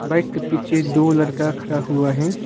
Bike के पीछे दो लड़का खड़ा हुआ हैं।